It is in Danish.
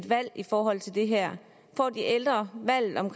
valg i forhold til det her får de ældre valget om